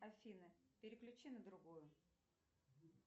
афина переключи на другую